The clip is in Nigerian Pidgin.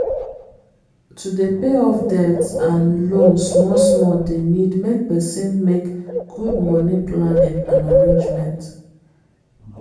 to dey pay off debt and loan small small dey need make person make good money planning and arrangement